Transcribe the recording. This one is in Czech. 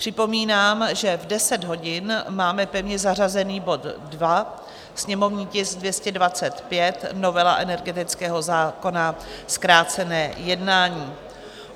Připomínám, že v 10 hodin máme pevně zařazený bod 2, sněmovní tisk 225 - novela energetického zákona, zkrácené jednání.